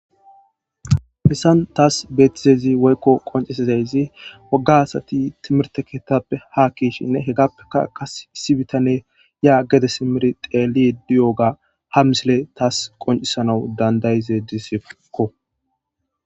Hesan tas betizays woyko qoncizays woga asati timirte kethappe ha ke'shinne hegappeka Qase issi bitaney ya gede simid xelid diyoga ha misiley tas qoncisanaw danda'idesko.